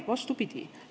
Vastupidi!